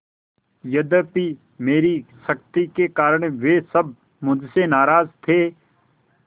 यद्यपि मेरी सख्ती के कारण वे सब मुझसे नाराज थे